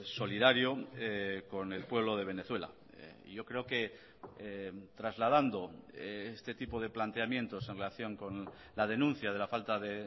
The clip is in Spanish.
solidario con el pueblo de venezuela y yo creo que trasladando este tipo de planteamientos en relación con la denuncia de la falta de